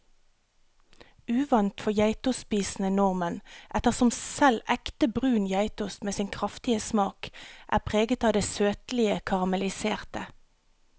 Uvant for geitostspisende nordmenn, ettersom selv ekte brun geitost med sin kraftige smak er preget av det søtlige karamelliserte.